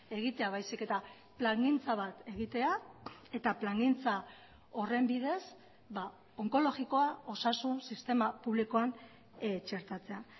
egitea baizik eta plangintza bat egitea eta plangintza horren bidez onkologikoa osasun sistema publikoan txertatzea